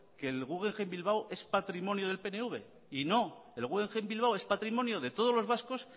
que el guggenheim bilbao es patrimonio del pnv y no el guggenheim bilbao es patrimonio de todos los vascos